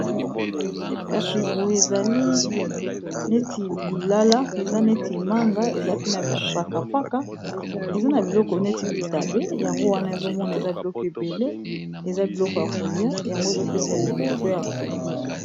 kasi boye ezali neti lilala eza neti manga eza pe na bpakapaka eza na biloko neti bitabe yango wana ezomona eza biloko ebele eza biloko ya kolia yango ezopesa lelenge po ya kolia